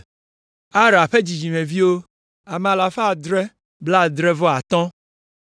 Ara ƒe dzidzimeviwo, ame alafa adre blaadre-vɔ-atɔ̃ (775).